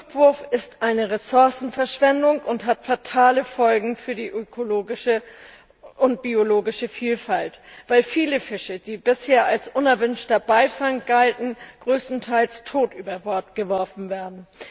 Rückwurf ist eine Ressourcenverschwendung und hat fatale Folgen für die ökologische und biologische Vielfalt, weil viele Fische, die bisher als unerwünschter Beifang galten, größtenteils tot über Bord geworfen werden.